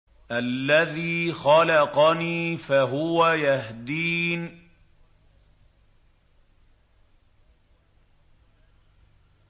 الَّذِي خَلَقَنِي فَهُوَ يَهْدِينِ